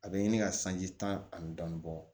A bɛ ɲini ka sanji tan ani dɔɔnin bɔ